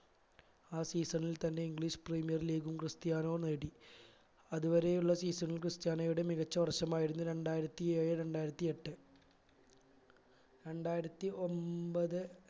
ആ season ൽ തന്നെ english premier league ഉം ക്രിസ്ത്യാനോ നേടി അതുവരെയുള്ള season ൽ ക്രിസ്ത്യാനോയുടെ മികച്ച വർഷമായിരുന്നു രണ്ടായിരത്തി ഏഴ് രണ്ടായിരത്തി എട്ട് രണ്ടായിരത്തി ഒൻപത്